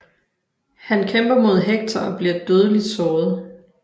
Han kæmper mod Hector og bliver dødeligt såret